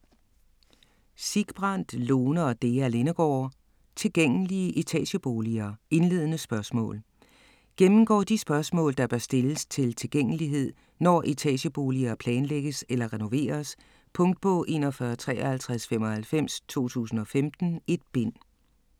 Sigbrand, Lone og Dea Lindegaard: Tilgængelige etageboliger - indledende spørgsmål Gennemgår de spørgsmål, der bør stilles til tilgængelighed, når etageboliger planlægges eller renoveres. Punktbog 415395 2015. 1 bind.